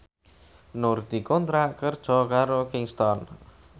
Nur dikontrak kerja karo Kingston